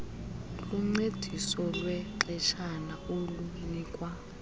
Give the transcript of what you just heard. luncediso lwexeshana olunikwa